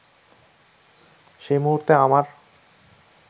সেই মুহুর্তে আমার